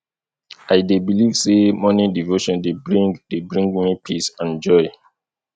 i dey believe say morning devotion dey bring dey bring me peace and joy